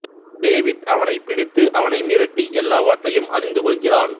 David அவனைப் பிடித்து அவனை மிரட்டி எல்லாவற்றையும் அறிந்து கொள்கிறான்